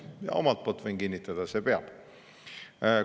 Omalt poolt võin kinnitada: see peab.